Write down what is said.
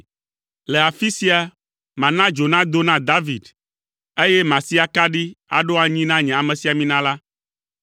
“Le afi sia, mana dzo nado na David, eye masi akaɖi aɖo anyi na nye amesiamina la.